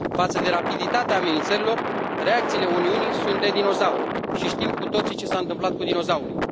Față de rapiditatea amenințărilor, reacțiile Uniunii sunt de dinozaur și știm cu toții ce s a întâmplat cu dinozaurii.